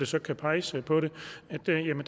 så kan peges på det